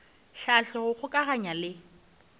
hlahla go kgokaganya le go